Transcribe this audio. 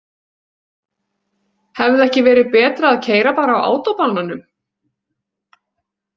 Hefði ekki verið betra að keyra bara á átóbananum?